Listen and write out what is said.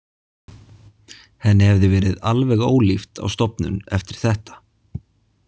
Henni hefði verið alveg ólíft á stofnun eftir þetta.